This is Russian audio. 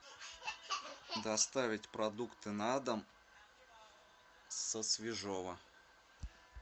доставить продукты на дом со свежово